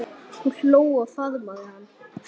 Hún hló og faðmaði hann.